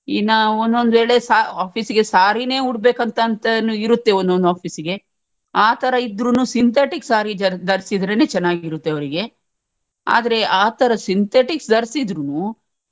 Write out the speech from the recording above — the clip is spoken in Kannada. ಇನ್ನ ಒಂದೊಂದು ವೇಳೆಸ office ಗೆ saree ನೇ ಉಡ್ಬೇಕಂತತನು ಇರುತ್ತೆ ಒಂದೊಂದು office ಸಿಗೆ ಆತರ ಇದ್ರುನು synthetic saree ಧ~ ಧರ್ಸಿದ್ರೇನೇ ಚೆನ್ನಾಗಿರುತ್ತೆ ಅವ್ರಿಗೆ ಆದ್ರೆ ಆತರ synthetic ಧರ್ಸಿದ್ರುನು.